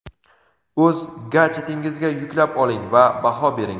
o‘z gadjetingizga yuklab oling va baho bering.